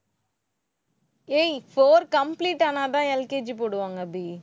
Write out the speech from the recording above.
ஏய், four complete ஆனாதான் LKG போடுவாங்க அபி